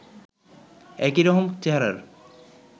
একই রকম চেহারার